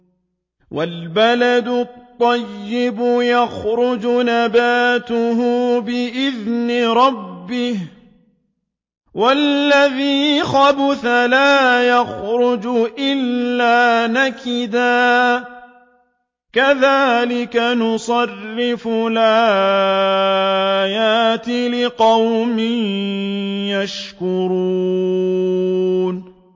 وَالْبَلَدُ الطَّيِّبُ يَخْرُجُ نَبَاتُهُ بِإِذْنِ رَبِّهِ ۖ وَالَّذِي خَبُثَ لَا يَخْرُجُ إِلَّا نَكِدًا ۚ كَذَٰلِكَ نُصَرِّفُ الْآيَاتِ لِقَوْمٍ يَشْكُرُونَ